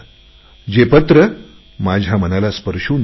ते पत्र माझ्या मनाला स्पर्शून गेले